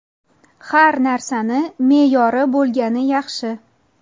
Har narsani me’yori bo‘lgani yaxshi.